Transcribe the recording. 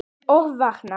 Og vakna!